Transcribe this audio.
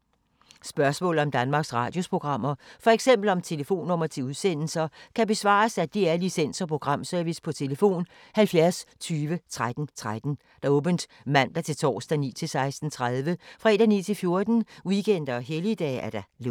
Spørgsmål om Danmarks Radios programmer, f.eks. om telefonnumre til udsendelser, kan besvares af DR Licens- og Programservice: tlf. 70 20 13 13, åbent mandag-torsdag 9.00-16.30, fredag 9.00-14.00, weekender og helligdage: lukket.